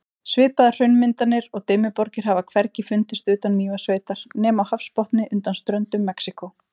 Svipaðar hraunmyndanir og Dimmuborgir hafa hvergi fundist utan Mývatnssveitar nema á hafsbotni undan ströndum Mexíkó.